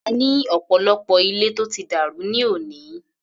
A ní ọ̀pọ̀lọpọ̀ ilé tó ti dàrú ní òní.